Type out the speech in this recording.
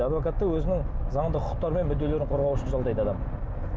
адвокатты өзінің заңды құқықтары мен мүдделерін қорғау үшін жалдайды адам